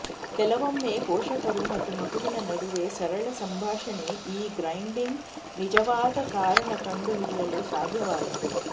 ಕೆಲವೊಮ್ಮೆ ಪೋಷಕರು ಮತ್ತು ಮಗುವಿನ ನಡುವೆ ಸರಳ ಸಂಭಾಷಣೆ ಈ ಗ್ರೈಂಡಿಂಗ್ ನಿಜವಾದ ಕಾರಣ ಕಂಡುಹಿಡಿಯಲು ಸಾಧ್ಯವಾಯಿತು